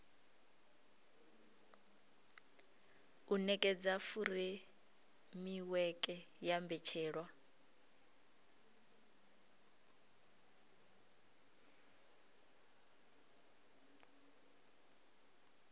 u nekedza furemiweke ya mbetshelwa